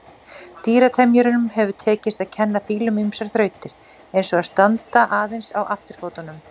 Dýratemjurum hefur tekist að kenna fílum ýmsar þrautir, eins og að standa aðeins á afturfótunum.